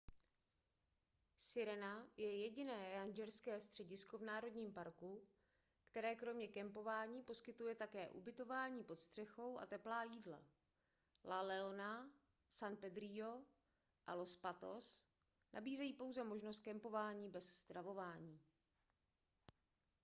sirena je jediné rangerské středisko v národním parku které kromě kempování poskytuje také ubytování pod střechou a teplá jídla la leona san pedrillo a los patos nabízejí pouze možnost kempování bez stravování